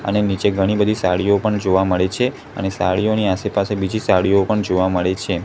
અને નીચે ઘણી બધી સાડીઓ પણ જોવા મળે છે અને સાડીઓની આસેપાસે બીજી સાડીઓ પણ જોવા મળે છે.